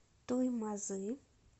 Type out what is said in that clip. туймазы